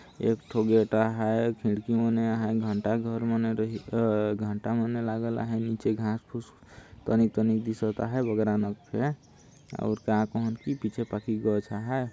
एक ठो गेट { आहाय खिड़की मन आहाय घंटा घर मने रही घंटा मने लागल आहाय निचे घास फूस तनी तनी दिसत आहाय बगरा नखे आउर का कहन की पीछे पाती गच आहाय |}